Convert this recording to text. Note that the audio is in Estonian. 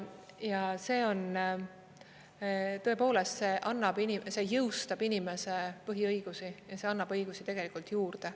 Ja see on tõepoolest … see annab … see jõustab inimese põhiõigusi ja see annab õigusi tegelikult juurde.